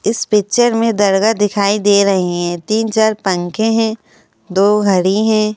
इस पिक्चर में दरगाह दिखाई दे रही हैं तीन चार पंखे हैं दो घड़ी हैं।